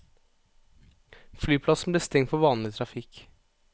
Flyplassen ble stengt for vanlig trafikk.